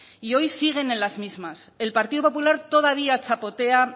y hoy siguen en las mismas el partido popular todavía chapotea